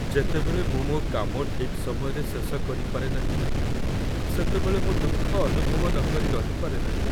ଯେତେବେଳେ ମୁଁ ମୋ କାମ ଠିକ୍ ସମୟରେ ଶେଷ କରିପାରେ ନାହିଁ, ସେତେବେଳେ ମୁଁ ଦୁଃଖ ଅନୁଭବ ନକରି ରହିପାରେ ନାହିଁ।